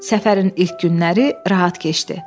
Səfərin ilk günləri rahat keçdi.